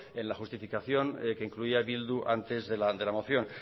en la justificación que incluía bildu antes de la moción